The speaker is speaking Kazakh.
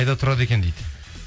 қайда тұрады екен дейді